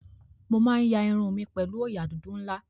Mo máa ń ya irun mi pẹ̀lú òòyà dúdú ńlá.